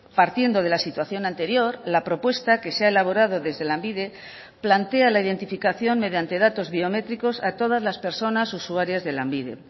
partiendo de la situación anterior la propuesta que se ha elaborado desde lanbide plantea la identificación mediante datos biométricos a todas las personas usuarias de lanbide